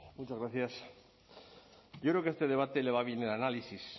muchas gracias yo creo que a este debate le va bien el análisis